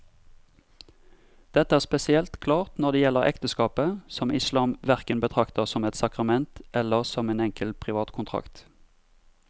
Dette er spesielt klart når det gjelder ekteskapet, som islam hverken betrakter som et sakrament eller som en enkel privat kontrakt.